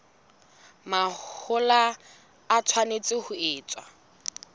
mahola e tshwanetse ho etswa